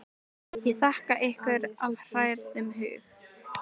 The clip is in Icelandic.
Ég þakka ykkur af hrærðum hug.